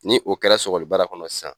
Ni o kɛra sɔlibara kɔnɔ sisan